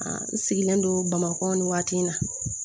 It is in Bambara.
n sigilen don bamakɔ ni waati in na